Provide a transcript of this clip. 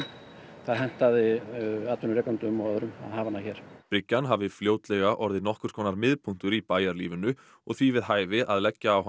það hentaði atvinnurekendum og öðrum að hafa hana hér bryggjan hafi fljótlega orðið nokkurs konar miðpunktur í bæjarlífinu og því við hæfi að leggja á hana